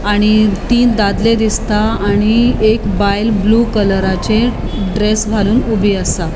आणि तीन दादले दिसता आणि एक बायल ब्लू कलराचे ड्रेस घालून ऊबी आसा.